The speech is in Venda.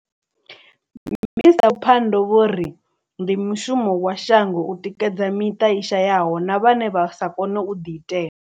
Minisṱa Pandor vho ri ndi mushumo wa shango u tikedza miṱa i shayaho na vhane vha sa kone u ḓiitela.